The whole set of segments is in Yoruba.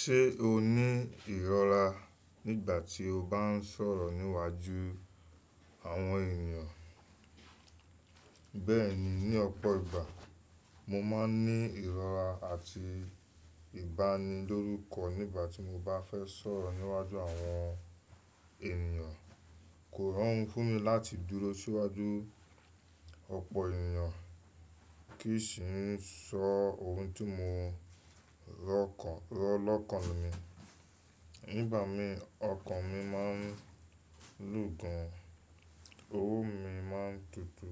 Ṣé o ní ìrọ́ra nígbà tí o bá ń sọ̀rọ̀ níwájú àwọn ènìyàn? Bẹ́ẹ̀ni, ní ọ̀pọ̀ ìgbà mo máa ń ní ìrọ́ra àti ìbánilórúkọ nígbà tí mo bá fẹ́ sọ̀rọ̀ níwájú àwọn ènìyàn. Kò rọrùn fún mi láti dúró síwájú ọ̀pọ̀ ènìyàn kí n sì ń sọ ohun tí mò rọ̀lọ́kàn mí. Nígbà mi ọkàn mi máa ń lù gan, ohùn mi máa ń tutù.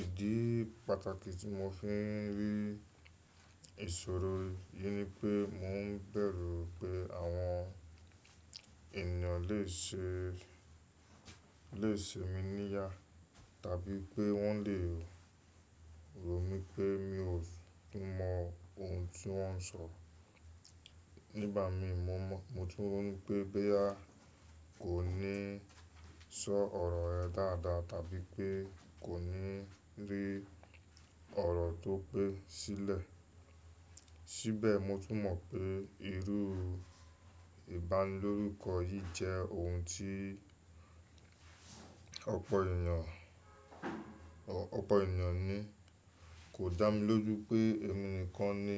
Ìdí pàtàkì tí mò ń fi ń ri ìṣòro yìí ni pé mò ń bẹ̀rù pé àwọn ènìyàn lè ṣe, lè ṣe mi níyà, tàbí pé wọ́n le rò mí pé mi ò tú mọ ohun tí wọ́n ń sọ. Nígbà mi mo tún rò pé, bóyá kò ní sọ ọ̀rọ̀ rẹ dáadáa tàbí pé kò ní rí ọ̀rọ̀ tó pé sílẹ̀. Síbẹ̀ mò tún mọ̀ pé irú ìbánilórúkọ yìí jẹ́ ohun tí ọ̀pọ̀ ènìyàn, ọ̀pọ̀ ènìyàn ní. Kò dá mi lójú pé èmi nìkan ni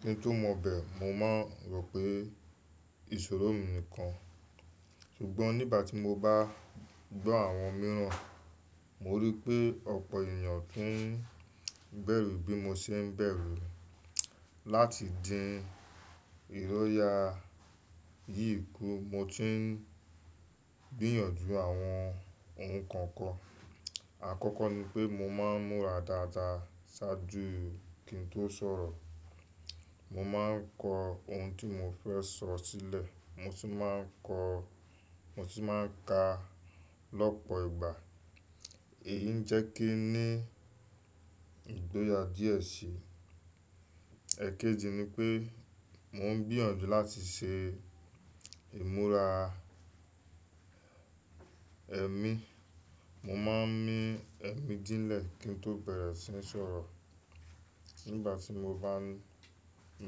kí n tó mọ bẹ́ẹ̀, mo máa rò pé ìṣòro mi nìkan. Ṣùgbọ́n nígbà tí mo bá gbọ́ àwọn mìíràn, mo rí i pé ọ̀pọ̀ ènìyàn tún ń bẹ̀rù bí mo ṣe ń bẹ̀rù. Láti dín ìróyà yìí kú mo ti ń gbìyànjú àwọn ohun kan kan. Àkọ́kọ́ ni pé mo máa ń múra dáadáa ṣáájú kí n tó sọ̀rọ̀. Mo máa ń kọ ohun tí mò fẹ́ sọ sílẹ̀, mo tun máa ń ko, mo sì máa ń ka lọ́pọ̀ ìgbà. Èyí ń jẹ́ kí ní ìgboyà díẹ̀ sí i. Ẹ̀kẹjì ni pé mò ń gbìyànjú láti ṣe ìmúra ẹmí. Mo máa ń mí ẹ̀mí dínlẹ̀ kí n tó bẹ̀rẹ̀ sí ní sọ̀rọ̀. Nígbà tí mo bá ń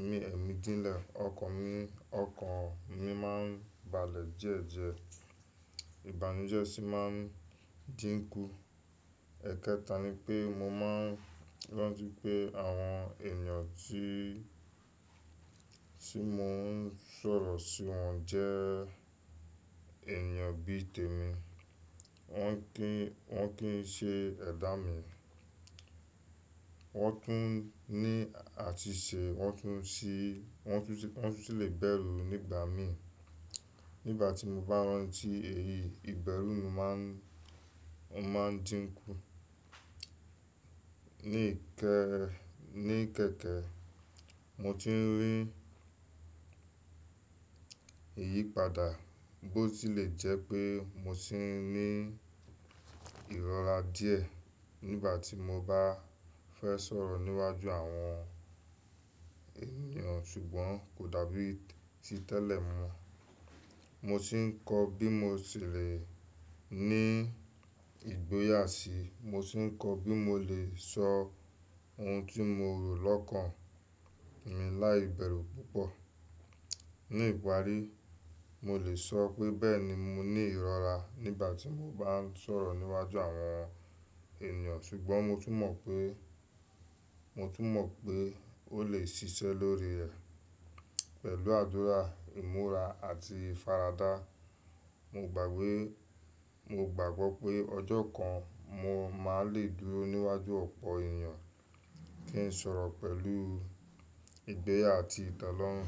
mí ẹ̀mí dínlẹ̀, ọkàn mi, ọkàn mi máa ń balẹ̀ diedie, ìbànújẹ́ sì máa ń dínkú. Ẹ̀kẹta ni pé mò máa ń rántí pé àwọn ènìyàn tí, tí mò ń sọ̀rọ̀ sí wọn jẹ́ ènìyàn bí i tèmi. Wọ́n kì í, wọ́n kì í ṣe ẹ̀dá mi, wọ́n tún ní àtìsẹ̀, wọ́n tún sì, wọ́n tún sì le bẹ̀rù nígbà mi. Nígbà tí mo bá rántí èyí, ìbẹ̀rù mi máa ń, máa ń dínkú. Ní ìkẹ, ní ìkẹkẹ, mo ti ń rí ìyípadà bó ti lè jẹ́ pé mo sì ń ní ìrọ́ra díẹ̀ nígbà tí mo bá fẹ́ sọ̀rọ̀ níwájú àwọn ènìyàn ṣùgbọ́n kò dàbí ti tẹ́lẹ̀ mọ́. Mo sì ń kọ bí mo ti lè ní ìgboyà sí i. Mo sì ń kọ bí mo lè sọ ohun tí mo rò lọ́kàn mi láìbẹ̀rù púpọ̀. Ní ìparí, mo lè sọ pé bẹ́ẹ̀ni mo ní ìrọ́ra nígbà tí mò ń bá ń sọ̀rọ̀ níwájú àwọn ènìyàn ṣùgbọ́n mo tún mọ̀ pé, mo tún mọ̀ pé ó lè ṣiṣẹ́ lórí ẹ̀ pẹ̀lú àdúrà, ìmúra àti ìfaradá. Mo gbàgbé, mo gbàgbọ́ pé ọjọ́ kan mó máa lè dúró níwájú ọ̀pọ̀ ènìyàn kí n sọ̀rọ̀ pẹ̀lú ìgboyà àti ìtelọ́rùn.